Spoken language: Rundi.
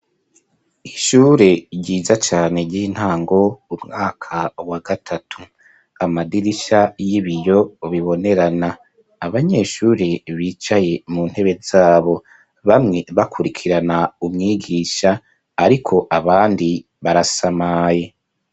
Ishure ryiza cane ry'intango umwaka wa gatatu amadirisha y'ibiyo bibonerana abanyeshure bicaye mu ntebe zabo bamwe bakurikirana umwigisha ariko abandi barasamaye.